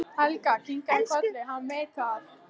Svenni kinkar kolli, hann veit það.